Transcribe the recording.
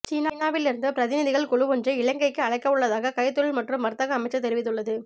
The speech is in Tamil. சீனாவில் இருந்து பிரதிநிதிகள் குழுவொன்றை இலங்கைக்கு அழைக்கவுள்ளதாக கைத்தொழில் மற்றும் வர்த்தக அமைச்சு தெரிவித்துள்ளது